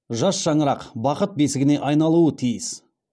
жас шаңырақ бақыт бесігіне айналуы тиіс